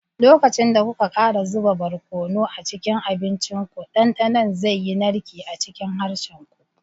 Lokacin da kuka ƙara zuba barkono a cikin abincinku, dandanon zai yi narke a cikin harshen ku.